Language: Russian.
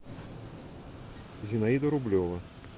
зинаида рублева